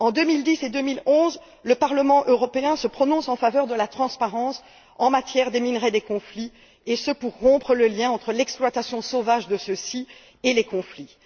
En 2010 et 2011, le Parlement européen se prononce en faveur de la transparence en matière de minerais des zones de conflit et ce, pour rompre le lien entre l'exploitation sauvage de ceux ci et les conflits.